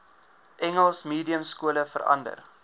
engels mediumskole verander